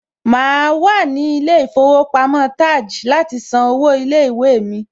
Màá wà ní ilé ìfowópamọ́ TAJ láti san owó ilé ìwé mi.